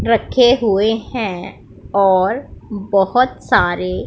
रखे हुए हैं और बहोत सारे--